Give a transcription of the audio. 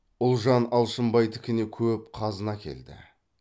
ұлжан алшынбайдікіне көп қазына әкелді